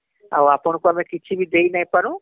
ଆଉ ଆପଣ ଙ୍କୁ ଆମେ କିଛିବି ଦେଇ ନାଇଁ ପାରୁ